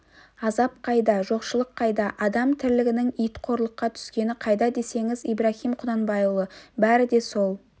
азап қайда жоқшылық қайда адам тірлігінің ит қорлыққа түскені қайда десеңіз ибраһим құнанбайұлы бәрі де сол